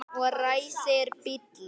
Og ræsir bílinn.